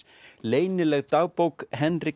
leynileg dagbók